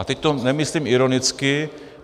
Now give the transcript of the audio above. A teď to nemyslím ironicky.